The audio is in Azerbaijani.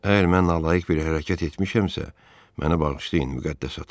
Əgər mən nalayiq bir hərəkət etmişəmsə, mənə bağışlayın müqəddəs ata.